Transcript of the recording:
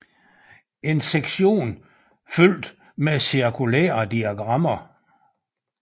En sektion fyldt med cirkulære diagrammer